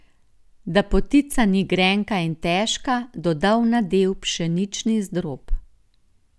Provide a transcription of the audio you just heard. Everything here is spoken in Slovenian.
Da potica ni grenka in težka, doda v nadev pšenični zdrob.